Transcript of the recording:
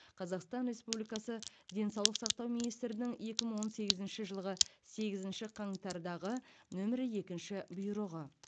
қазақстан республикасы денсаулық сақтау министрінің екі мың он сегізінші жылғы сегізінші қаңтардағы нөмірі екінші бұйрығы